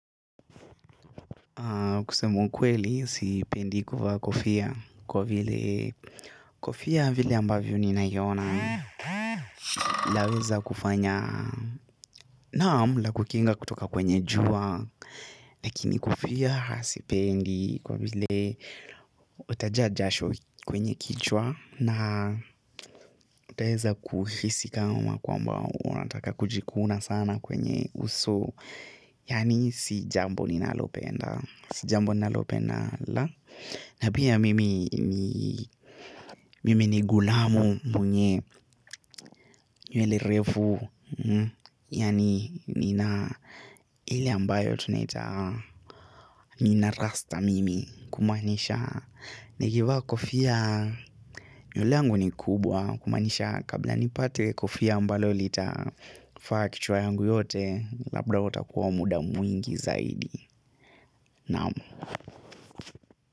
Kusema ukweli, sipendi kuvaa kofia kwa vile kofia vile ambavyo ninaiona laweza kufanya naam lakukinga kutoka kwenye jua. Lakini kofia sipendi kwa vile utajaa jasho kwenye kichwa na utaeza kuhisi kama kwamba unataka kujikuna sana kwenye uso. Yaani si jambo ninalopenda si jambo ninalopenda la na pia mimi ni ghulamu mwenye nywele refu. Yaani nina ile ambayo tunaita nina rasta mimi kumaanisha. Nikivaa kofia nywele yangu ni kubwa kumaanisha kabla nipate kofia ambalo litafaa kichwa yangu yote labda huo utakuwa muda mwingi zaidi naam.